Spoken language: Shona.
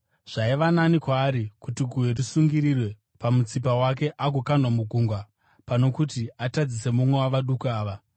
Zvaiva nani kwaari kuti guyo risungirirwe pamutsipa wake agokandwa mugungwa pano kuti atadzise mumwe wavaduku ava.